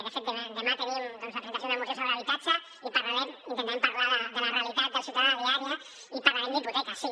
de fet demà tenim la presentació d’una moció sobre habitatge i parlarem intentarem parlar de la realitat del ciutadà diària i parlarem d’hipoteques sí